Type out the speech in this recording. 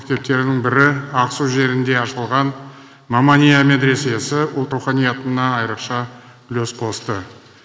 мектептерінің бірі ақсу жерінде ашылған мамания медресесі ұлт руханиятына айрықша үлес қосты